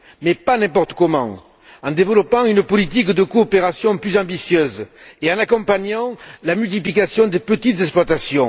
Mais pas n'importe comment en développant une politique de coopération plus ambitieuse et en accompagnant la multiplication des petites exploitations.